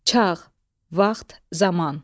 Çağ, vaxt, zaman.